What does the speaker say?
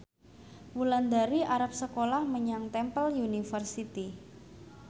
Wulandari arep sekolah menyang Temple University